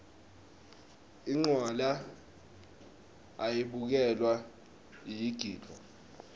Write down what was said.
incwala ayibukelwa iyagidvwa